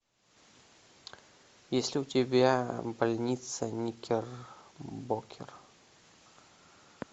есть ли у тебя больница никербокер